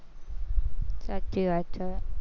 સાચી વાત છે.